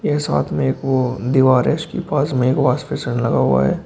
ये साथ में एक वो दीवार है। इसके पास में एक वॉश बेसिन लगा हुआ है।